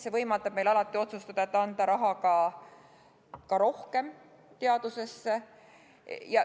See võimaldab meil alati otsustada, et anda ka teadusesse rohkem raha.